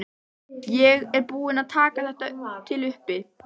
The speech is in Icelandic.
Ég er búin að taka þetta til uppi.